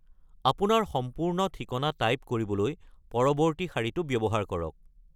আপোনাৰ সম্পূৰ্ণ ঠিকনা টাইপ কৰিবলৈ পৰৱৰ্তী শাৰীটো ব্যৱহাৰ কৰক।